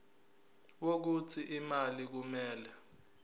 wokuthi imali kumele